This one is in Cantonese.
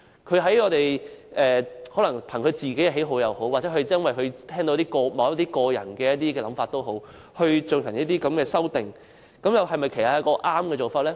他可能憑個人喜好或因為他聽到某些人的想法，故此提出這項修正案，這樣又是否正確的做法呢？